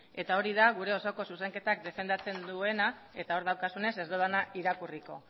eta hori da gure osoko zuzenketa defendatzen duenak eta hor daukazunez ez dudana irakurriko